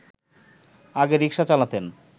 আগে রিকশা চালাতেন